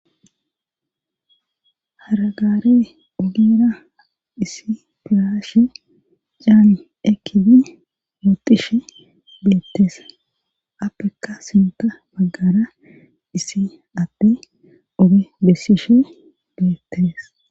Haragaare ogera issi pirashe caani ekidi moxishe beettees appeka sinta baggara issi atti oge bessishe geettees